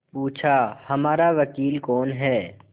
पूछाहमारा वकील कौन है